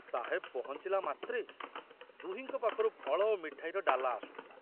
ସାହେବ ପହଞ୍ଚିଲା ମାତ୍ରେ ଦୁହିଁଙ୍କ ପାଖରୁ ଫଳ ଓ ମିଠାଇର ଡାଲା ଆସୁଥିଲା।